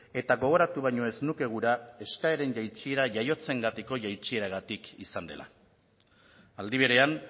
eta gogoratu baino ez nuke gura eskaeren jaitsiera jaiotzengatiko jaitsieragatik izan dela aldi berean